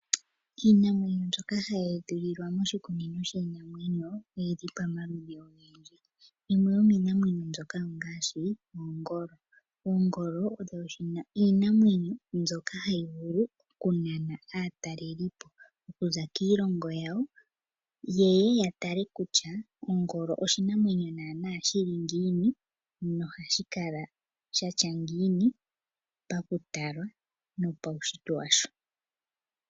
Iinamwenyo mbyoka hayi eshililwa moshikunino shiinamwenyo oyili pamaludhi ogendji, yimwe yomiinamwenyo mboka ongaashi oongolo. Oongolo odho iinamwenyo mbyoka hayi vulu okunana aatalelipo okuza kiilongo yawo ye ye yatale kutya ongolo oshinamwenyo naanaa shili ngiini noha shikala shatya ngiini pakutalwa nopawushitwe washo.